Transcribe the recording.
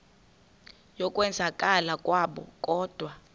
yokwenzakala kwabo kodwa